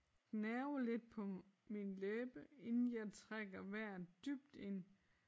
Gnaver lidt på min læbe inden jeg trækker vejret dybt ind